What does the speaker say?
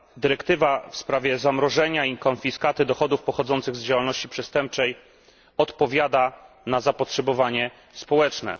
Dyrektywa w sprawie zamrożenia i konfiskaty dochodów pochodzących z działalności przestępczej odpowiada na zapotrzebowanie społeczne.